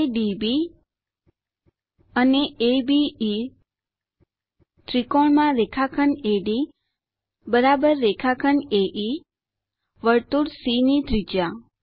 ADB અને અબે ત્રિકોણ માં રેખાખંડ એડી રેખાખંડ એઇ વર્તુળ સી ની ત્રિજ્યા